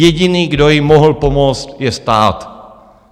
Jediný, kdo jim mohl pomoct, je stát.